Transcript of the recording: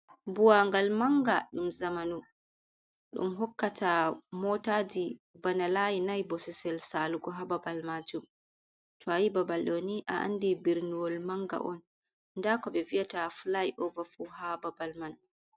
Buwa ngal manga ɗum zamanu. Ɗum hokkata motaji bana layi nai bosesel salugu hababal majum, to ayi babal ɗoni a andi birniwol manga on. Nda ko ɓe viyata filay ova fu ha babal man.